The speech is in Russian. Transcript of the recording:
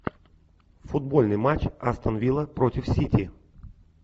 футбольный матч астон вилла против сити